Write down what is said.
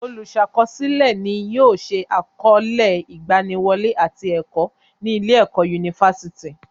Olùsàkọsílẹ̀ ni yóò se àkọọlẹ ìgbaniwọlé àti ẹ̀kọ́ ní ilé ẹ̀kọ́ yunifásítì.